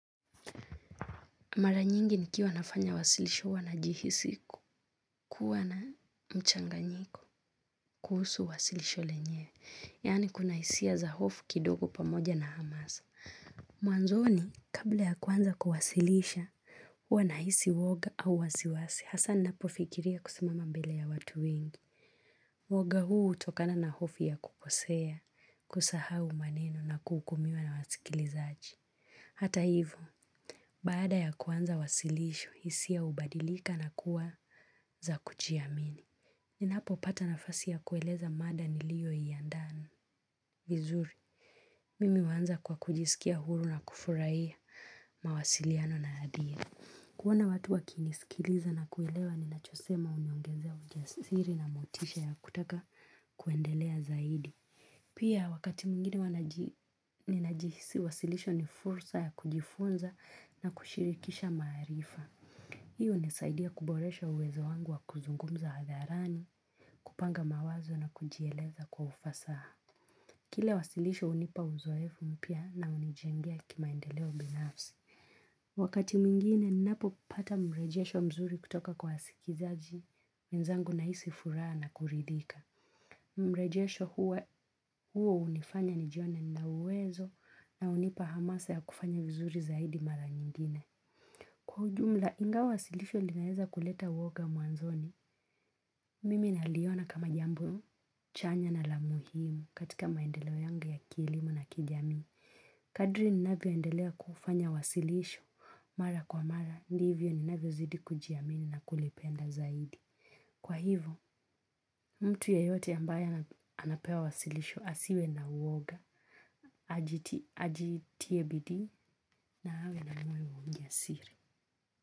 Mara nyingi nikiwa nafanya wasilisho huwa najihisi kuwa na mchanganyiko kuhusu wasilisho lenyewe. Yani kuna hisia za hofu kidogo pamoja na hamasa. Mwanzoni, kabla ya kuanza kuwasilisha, huwa nahisi uoga au wasiwasi hasa napofikiria kusimama mbele ya watu wengi. Woga huu hutokana na hofu ya kukosea, kusahau maneno na kuhukumiwa na wasikilizaji. Hata hivyo baada ya kuanza wasilisho, hisia hubadilika na kuwa za kujiamini. Ninapopata nafasi ya kueleza mada niliyoiandaa. Vizuri, mimi huanza kwa kujisikia huru na kufurahi mawasiliano na hadhira. Kuoa watu wakinisikiliza na kuelewa ninachosema huniongezea ujasiri na motisha ya kutaka kuendelea zaidi. Pia wakati mwingine huwa ninajihisi, wasilisho ni fursa ya kujifunza na kushirikisha maarifa. Hii hunisaidia kuboresha uwezo wangu wa kuzungumza hadharani, kupanga mawazo na kujieleza kwa ufasaha. Kile wasilisho hunipa uzoefu mpya na hunijengia kimaendeleo binafsi. Wakati mwingine, ninapopata mrejesho mzuri kutoka kwa wasikilizaji wenzangu nahisi furaha na kuridhika. Mrejesho huo hunifanya nijione nina uwezo na hunipa hamasa ya kufanya vizuri zaidi mara nyingine. Kwa ujumla ingawa wasilisho linaweza kuleta uoga mwanzoni mimi naliona kama jambo chanya na la muhimu katika maendeleo yangu ya kielimu na kijamii kadri ninavyoendelea kufanya wasilisho mara kwa mara ndivyo ninavyozidi kujiamini na kulipenda zaidi ajitie bidii na awe na moyo wa ujasiri.